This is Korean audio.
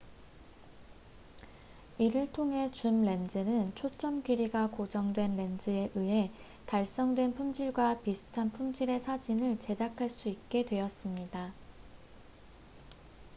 이를 통해 줌 렌즈는 초점 길이가 고정된 렌즈에 의해 달성된 품질과 비슷한 품질의 사진을 제작할 수 있게 되었습니다